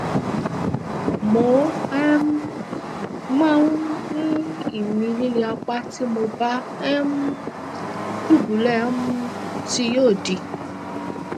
mo um máa ń ní ìmí líle apá tí mo bá um dùbúlẹ um sí yóò dì